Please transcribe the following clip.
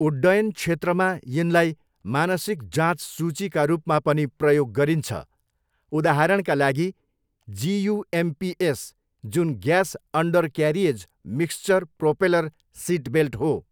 उड्डयनक्षेत्रमा यिनलाई मानसिक जाँच सूचीका रूपमा पनि प्रयोग गरिन्छ, उदाहरणका लागि, जियुएमपिएस, जुन gas undercarriage mixture propeller seatbelt हो।